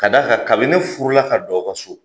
Ka d'a kan, kabini ne furu la ka don aw ka so,